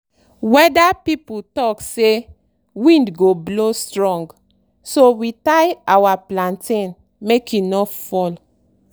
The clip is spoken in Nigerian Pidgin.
weather people talk say wind go blow strong so we tie our plantain make e no fall.